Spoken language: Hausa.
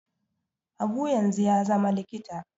Habu yanzu ya zama likita